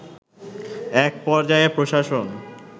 এক পর্যায়ে প্রশাসন